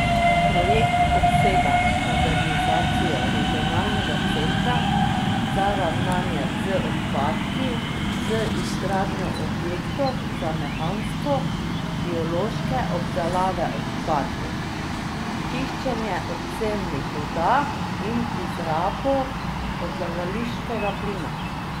Projekt obsega modernizacijo regionalnega centra za ravnanje z odpadki z izgradnjo objektov za mehansko biološke obdelave odpadkov, čiščenje odcednih voda in izrabo odlagališčnega plina.